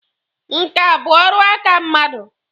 Nkà bụ ọrụ aka mmadụ.